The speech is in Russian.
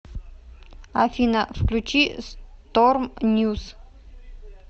афина включи сторм ньюс